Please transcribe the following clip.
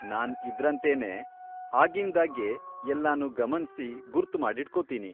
ನಾನ್ ಇದ್ರಂತೆನೇ ಆಗಿಂದಾಗ್ಗೆ ಎಲ್ಲನೂ ಗಮನ್ಸಿ ಗುರ್ತ್ ಮಾಡಿಟ್ಕೊತೀನಿ.